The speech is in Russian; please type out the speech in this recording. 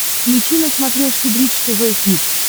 включи на смотрешке бридж тв хитс